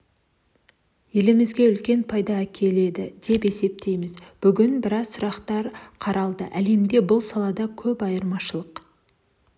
елімізге үлкен пайда әкеледі деп есептеймін бүгін біраз сұрақтар қаралады әлемде бұл салада көп айырмашылық